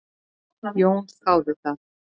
Jón þáði það.